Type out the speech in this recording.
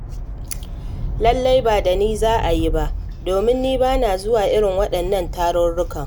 Lallai ba da ni za a yi ba, domin ni ba na zuwa irin waɗannan tarurrukan.